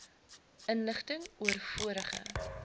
inligting oor vorige